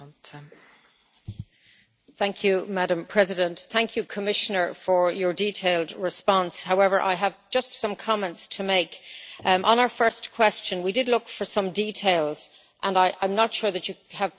Madam President, I would like to thank the Commissioner for his detailed response. However, I have just some comments to make. On our first question we did look for some details and I am not sure that you have provided us with the details we would like.